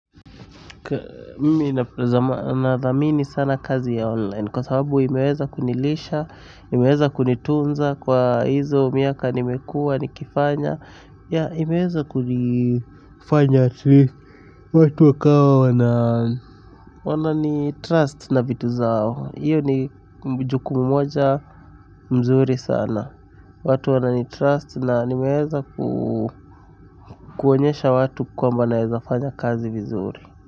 Kazi ya online kwa sababu imeweza kunilisha imeweza kunitunza kwa hizo miaka nimekuwa nikifanya. Imeweza kunifanya watu wakawa wananitrust na vitu zao. Hii ni jukumu moja mzuri sana, watu wananitrust na nimeweza kuonyesha watu kwamba nawezafanya kazi vizuri.